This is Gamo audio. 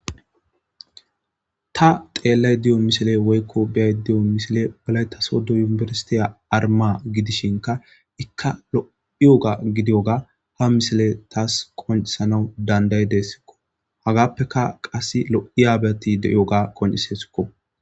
Ta xeellay diyo misile woykko biyay diyo misile balay tasodo yunibersitiya arma gidishinka ikka lo'iyoga gidiyoga ha misile taas qoncisanaw dandayi dessikko hagaappeka qass lo'i aabyati de'iyoga qonisesikko